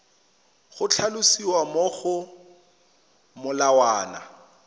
go tlhalosiwa mo go molawana